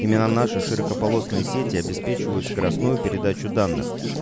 именно наши широкополосные сети обеспечивают скоростную передачу данных